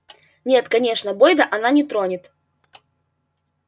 нет конечно бойда она не тронет